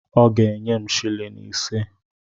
Ọ ga-enye m silin ise.